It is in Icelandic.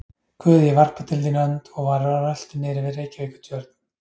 Guð, ég varpa til þín önd, og var á rölti niðri við Reykjavíkurtjörn.